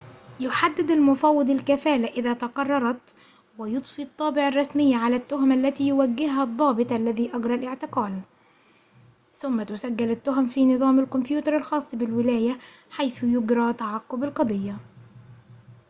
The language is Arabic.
يحدد المفوض الكفالة إذا تقررت ويضفي الطابع الرسمي على التهم التي يوجهها الضابط الذي أجرى الاعتقال ثم تسجل التهم في نظام الكمبيوتر الخاص بالولاية حيث يجري تعقب القضية